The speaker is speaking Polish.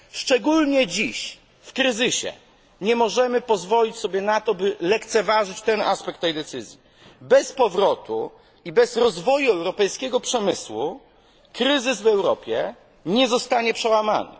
Szczególnie dziś w kryzysie nie możemy pozwolić sobie na to, by lekceważyć ten aspekt tej decyzji. Bez powrotu i bez rozwoju europejskiego przemysłu kryzys w Europie nie zostanie przełamany.